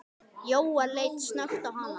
Jóel leit snöggt á hana.